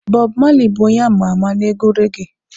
Bob Marley bụ onye ama ama na-egwu reggae